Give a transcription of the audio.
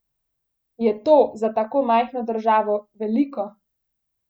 Je to za tako majhno državo veliko?